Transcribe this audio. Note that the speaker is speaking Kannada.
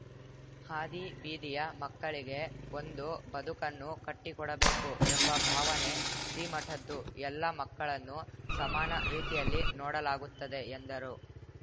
ಹಾದಿಬೀದಿಯ ಮಕ್ಕಳಿಗೆ ಒಂದು ಬದುಕನ್ನು ಕಟ್ಟಿಕೊಡಬೇಕು ಎಂಬ ಭಾವನೆ ಶ್ರೀಮಠದ್ದು ಎಲ್ಲ ಮಕ್ಕಳನ್ನು ಸಮಾನ ರೀತಿಯಲ್ಲಿ ನೋಡಲಾಗುತ್ತದೆ ಎಂದರು